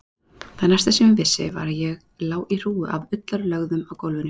Það næsta sem ég vissi var að ég lá í hrúgu af ullarlögðum á gólfinu.